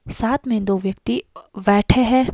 साथ में दो व्यक्ति बैठे हैं।